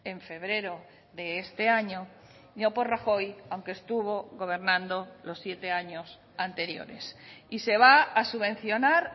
en febrero de este año no por rajoy aunque estuvo gobernando los siete años anteriores y se va a subvencionar